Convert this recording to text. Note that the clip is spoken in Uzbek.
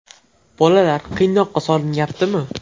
Bolalar qiynoqqa solinyaptimi?